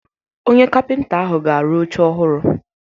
Onye kapịnta ahụ ga-arụ oche ọhụrụ.